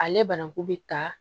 Ale bananku bɛ ta